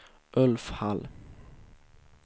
Ulf Hall